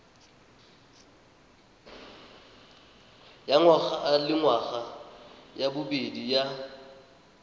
ya ngwagalengwaga ya bobedi ya